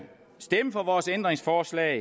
stemme for vores ændringsforslag